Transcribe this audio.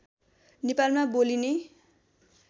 नेपालमा बोलिने